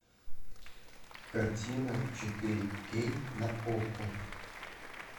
картина четыре кей на окко